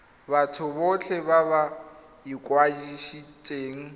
batho botlhe ba ba ikwadisitseng